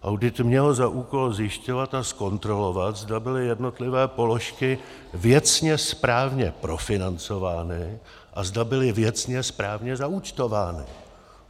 Audit měl za úkol zjišťovat a zkontrolovat, zda byly jednotlivé položky věcně správně profinancovány a zda byly věcně správně zaúčtovány.